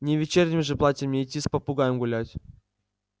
не в вечернем же платье мне идти с попугаем гулять